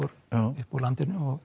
úr landinu